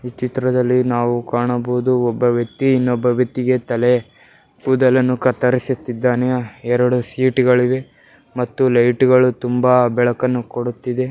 ಈ ಚಿತ್ರದಲ್ಲಿ ನ್ನವು ಕಾಣಬಹುದು ಒಬ್ಬ ವ್ಯಕ್ತಿ ಇನ್ನೊಬ್ಬ ವ್ಯಕ್ತಿಗೆ ತಲೆ ಕೂದಲನ್ನು ಕತ್ತರಿಸುತ್ತಿದ್ದಾನೆ ಎರಡು ಸೀಟುಗಳು ಇವೆ ಮತ್ತು ಲೈಟ್ ಗಳು ತುಂಬಾ ಬೆಳಕನ್ನು ಕೊಡುತ್ತಿದೆ.